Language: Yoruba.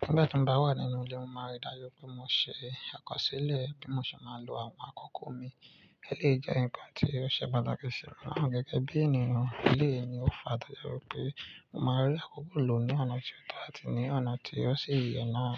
Nígbà tí mọ ba wà nínú ilé, mo máa rí dájú pé mo ṣe àkọsílẹ̀ bí mo ṣe máa lò àwọn akoko mi. Éléyi jẹ́ ǹkan tí ó ṣe pàtàkì ṣi mi na gẹ́gẹ́ bí ènìyàn. Ilé ni ó fa dájú pé mo máa rí akoko lò ní ọ̀nà tí ó to atí ní ọ̀nà tí ó ṣi yè náà.